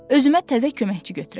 Özümə təzə köməkçi götürəcəm.